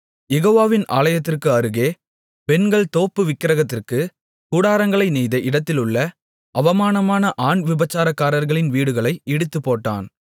யெகோவாவின் ஆலயத்திற்கு அருகே பெண்கள் தோப்பு விக்கிரகத்திற்குக் கூடாரங்களை நெய்த இடத்திலுள்ள அவமானமான ஆண் விபசாரக்காரர்களின் வீடுகளை இடித்துப்போட்டான்